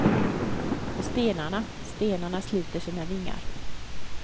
Och stenarna, stenarna sluter sina vingar.